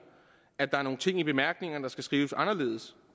at der er nogle ting i bemærkningerne der skal skrives anderledes